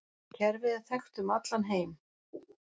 Kerfið er þekkt um allan heim.